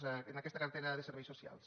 a aquesta cartera de serveis socials